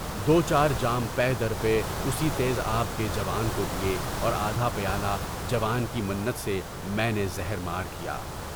دو چار جام یہ دریائے اُسی تیز آب کے جوان کو دیے اور آدھا پالہ جوان کی منت سے میں نے زہر مار کیا۔